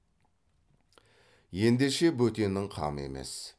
ендеше бөтеннің қамы емес